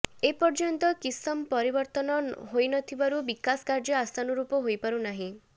ଏପର୍ଯ୍ୟନ୍ତ କିସମ ପରିବର୍ତନ ହୋଇ ନଥିବାରୁ ବିକାଶ କାର୍ଯ୍ୟ ଆଶାନୁରୂପ ହୋଇପାରୁ ନାହିଁ